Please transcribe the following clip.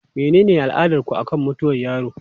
Menene al'adarku akan mutuwar yaro?